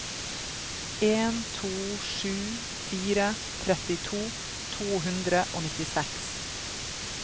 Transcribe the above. en to sju fire trettito to hundre og nittiseks